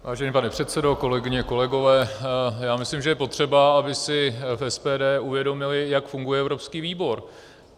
Vážený pane předsedo, kolegyně, kolegové, já myslím, že je potřeba, aby si v SPD uvědomili, jak funguje evropský výbor.